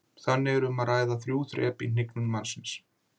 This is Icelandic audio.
Þannig var um að ræða þrjú þrep í hnignun mannsins.